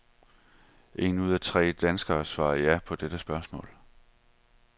En ud af tre danskere svarer ja på dette spørgsmål.